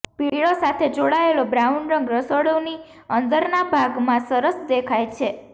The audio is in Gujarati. પીળો સાથે જોડાયેલો બ્રાઉન રંગ રસોડુંની અંદરના ભાગમાં સરસ દેખાય છે